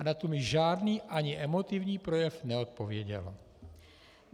A na to mi žádný, ani emotivní projev neodpověděl.